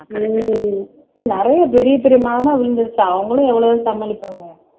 உம் நிறைய பெரிய பெரிய மரமா விழுந்திருச்சா அவங்களும் எவ்வளவு சமாளிப்பாங்க